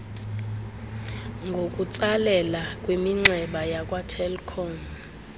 ngokutsalela kwiminxeba yakwatelkom